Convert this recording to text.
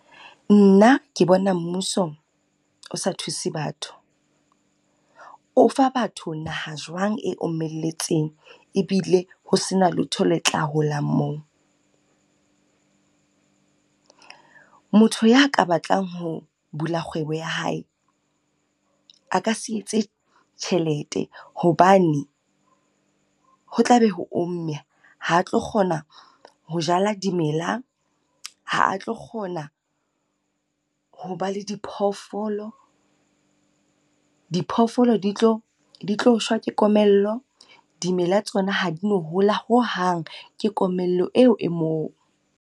Nna ke bona mmuso o sa thuse batho. O fa batho naha jwang e omelletseng? Ebile ho se na letho le tla holang moo? Motho ya ka batlang ho bula kgwebo ya hae a ka se etse tjhelete, hobane ho tla be ho omme ha tlo kgona ho jala dimela, ha a tlo kgona ho ba le diphoofolo, Diphoofolo di tlo di tlo shwa ke komello. Dimela tsona ha di no hola hohang ke komello eo e moo.